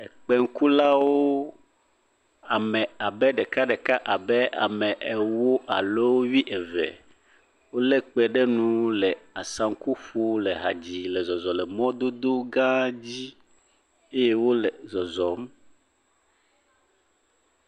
Kpekulawo ame abe ɖeka ɖeka abe ame ewo alo wuieve wo lé kpẽ ɖe nu le asaŋku ƒom le ha dzii le zɔzɔ le mɔdodo gã aɖe dzi eye wole zɔzɔm.